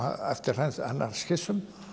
eftir hans skissum